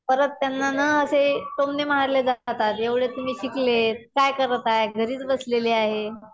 परत त्यांना ना असे टोमणे मारले जातात. एवढे तुम्ही शिकले काय करत आहेत. घरीच बसलेले आहे.